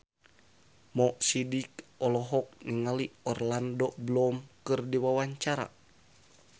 Mo Sidik olohok ningali Orlando Bloom keur diwawancara